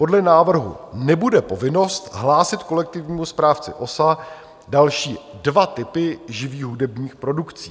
Podle návrhu nebude povinnost hlásit kolektivnímu správci OSA další dva typy živých hudebních produkcí.